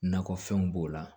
Nakɔfɛnw b'o la